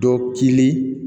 Dɔ kilen